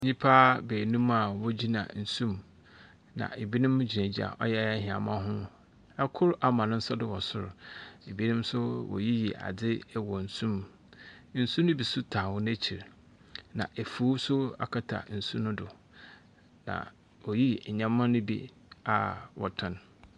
Nnipa benum a wogyina nsu ɛmu, na ebinom egyina gyina ɔyɛ hiamɔ ho Ɛ kor ama n'sa do ɛwɔ soro, ebinom nso woyoyi adI ɛwɔ nsu mu. Nsu no be so taw wɔn akyi na efuw no so akata nsu nu do. Na oyi nneɛma no bi a wɔtɔn.